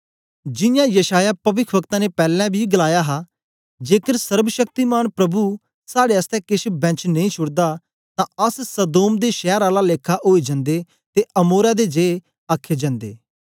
जियां यशायाह पविख्वक्ता ने पैलैं बी गलाया हा जेकर सर्वशक्तिमान प्रभु साड़े आसतै केछ बैंश नेई छुड़दा तां अस सदोम दे शैर आला लेखा ओई जंदे ते अमोरा दे जिए आखे जन्दे